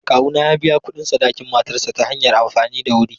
Kawuna ya biya kuɗin sadakin matarsa ​​ta hanyar amfani da wuri.